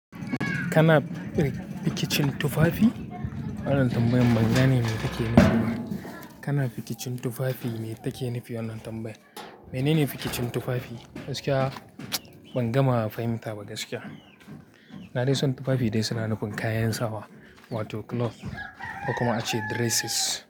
Kana firikin tufafi? Wannan tambayan ban gane me take nufi ba. Kana fikicin tufafi mai take nufi wannan tambayar? Menene fikicin tufafi? Gaskiya, ban gama fahimta ba gaskiya. Na dai san tufafi dai suna nufin kayan sawa. Wato clothes, ko kuma ace dresses.